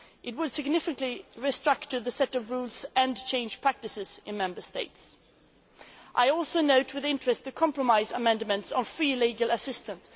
It would significantly restructure the set of rules and change practices in Member States. I also note with interest the compromise amendments on free legal assistance.